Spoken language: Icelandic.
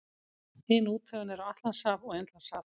Hin úthöfin eru Atlantshaf og Indlandshaf.